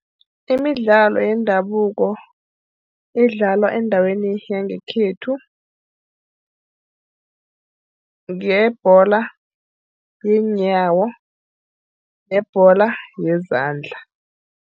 Imidlalo yendabuko edlalwa endaweni yangekhethu, ngeyebholo yeenyawo nebholo yezandla.